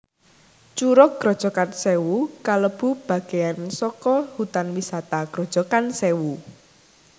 Curug Grojogan Sewu kalebu bageyan saka Hutan Wisata Grojogan Sèwu